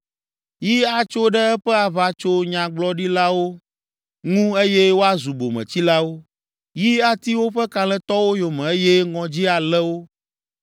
Yi atso ɖe eƒe aʋatsonyagblɔɖilawo ŋu eye woazu bometsilawo. Yi ati woƒe kalẽtɔwo yome eye ŋɔdzi alé wo!